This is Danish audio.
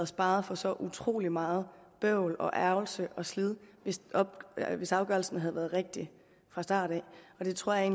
sparet for så utrolig meget bøvl og ærgrelse og slid hvis afgørelsen havde været rigtig fra starten det tror jeg